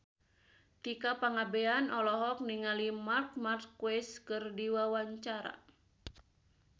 Tika Pangabean olohok ningali Marc Marquez keur diwawancara